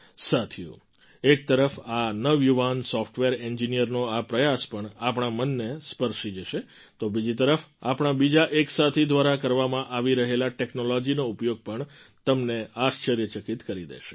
સાથીઓ એક તરફ આ નવયુવાન સૉફ્ટવેર એન્જિનિયરનો આ પ્રયાસ પણ આપણા મનને સ્પર્શી જશે તો બીજી તરફ આપણા બીજા એક સાથી દ્વારા કરવામાં આવી રહેલ ટૅક્નૉલૉજીનો ઉપયોગ પણ તમને આશ્ચર્યચકિત કરી દેશે